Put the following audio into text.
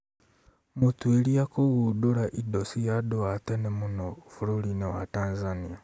Mũtuĩria kũgundũra indo cia andũ a tene mũno bũrũri-inĩ wa Tanzania